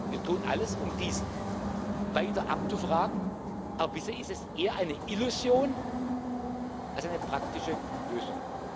Wir tun alles, um dies weiter abzufragen, aber bisher ist es eher eine Illusion als eine praktische Lösung.